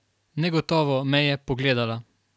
Negotovo me je pogledala.